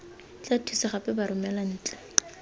tla thusa gape baromela ntle